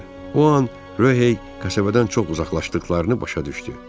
O an Röhey kəsəvədən çox uzaqlaşdıqlarını başa düşdü.